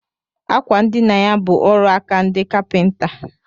Àkwà ndina ya bụ ọrụaka ndị kapinta